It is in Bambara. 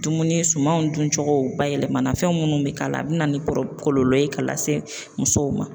Dumuni sumanw dun cogo bayɛlɛma na fɛn minnu bɛ k'a la a bɛ na ni kɔlɔlɔ ye k'a lase musow ma.